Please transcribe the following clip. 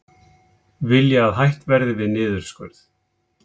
Vilja að hætt verði við niðurskurð